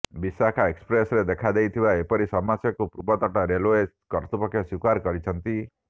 ବିଶାଖା ଏକ୍ସପ୍ରେସ୍ରେ ଦେଖାଦେଇଥିବା ଏପରି ସମସ୍ୟାକୁ ପୂର୍ବତଟ ରେଲୱେ କର୍ତ୍ତୃପକ୍ଷ ସ୍ୱୀକାର କରିଛନ୍ତି